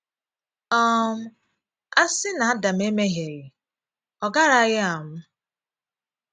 um A sị́ na Adam emèhìeghí, ọ garaghị anwụ́.